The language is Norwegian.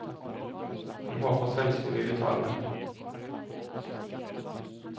Han håper svenskene vil betale det.